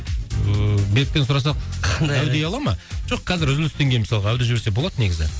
ыыы беріктен сұрасақ әу дей ала ма жоқ қазір үзілістен кейін мысалға әу деп жіберсе болады негізі